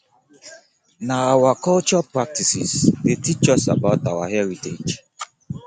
na our cultural practices dey teach us about our heritage